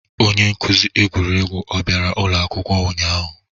Onye nkuzi egwuregwu o bịara ụlọ akwụkwọ ụnyahụ?